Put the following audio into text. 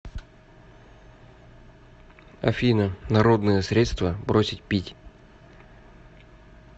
афина народные средства бросить пить